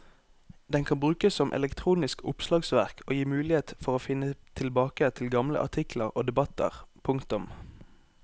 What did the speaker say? Den kan brukes som elektronisk oppslagsverk og gir mulighet for å finne tilbake til gamle artikler og debatter. punktum